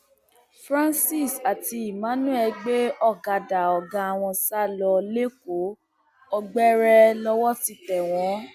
francis àti emmanuel gbé ọkadà ọgá wọn sá lọ lẹkọọ ọgbẹrẹ lọwọ ti tẹ wọn